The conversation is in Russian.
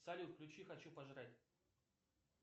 салют включи хочу пожрать